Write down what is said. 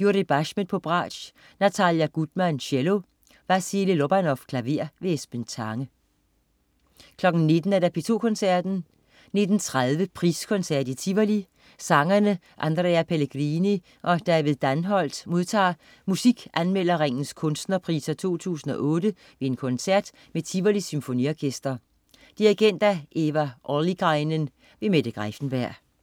Yuri Bashmet, bratsch. Natalia Gutman, cello. Vassily Lobanov, klaver. Esben Tange 19.00 P2 Koncerten. 19.30 Priskoncert i Tivoli. Sangerne Andrea Pellegrini og David Danholt modtager Musikanmelderringens kunstnerpriser 2008 ved en koncert med Tivolis Symfoniorkester. Dirigent: Eva Ollikainen. Mette Greiffenberg